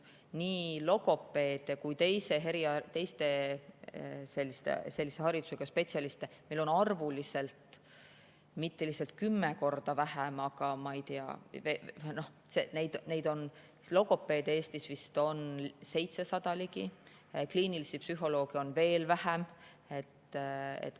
Nii logopeede kui ka teisi sellise haridusega spetsialiste on meil arvuliselt mitte lihtsalt 10 korda vähem, vaid logopeede on, ma ei tea, Eestis vist 700 ligi, kliinilisi psühholooge on veel vähem.